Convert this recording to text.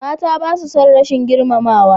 Mata basa son rashin girmamawa.